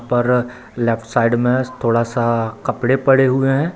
पर left side में थोड़ा सा कपड़े पड़े हुए हैं।